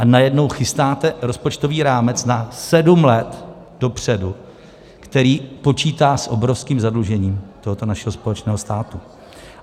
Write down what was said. A najednou chytáte rozpočtový rámec na sedm let dopředu, který počítá s obrovským zadlužením tohoto našeho společného státu.